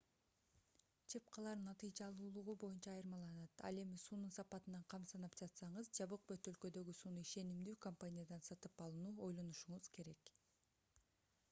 чыпкалар натыйжалуулугу боюнча айырмаланат ал эми суунун сапатынан кам санап жатсаңыз жабык бөтөлкөдөгү сууну ишенимдүү компаниядан сатып алууну ойлонушуңуз керек